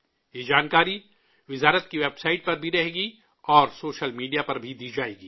یہ جانکاری وزارت کی ویب سائٹ پر بھی رہے گی، اور سوشل میڈیا پر بھی دی جائے گی